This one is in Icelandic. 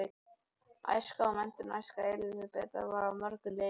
Æska og menntun Æska Elísabetar var að mörgu leyti erfið.